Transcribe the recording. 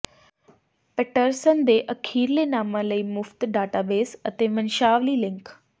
Patterson ਦੇ ਅਖੀਰਲੇ ਨਾਮਾਂ ਲਈ ਮੁਫ਼ਤ ਡਾਟਾਬੇਸ ਅਤੇ ਵੰਸ਼ਾਵਲੀ ਲਿੰਕ